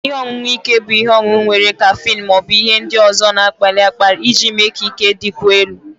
Ihe ọṅụṅụ ike bụ ihe ọṅụṅụ nwere kaffeine ma ọ bụ ihe ndị ọzọ na-akpali akpali iji mee ka ike dịkwuo elu